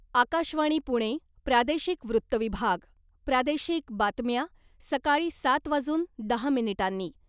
आकाशवाणी पुणे, प्रादेशिक वृत्तविभाग, प्रादेशिक बातम्या, सकाळी सात वाजून दहा मिनिटांनी.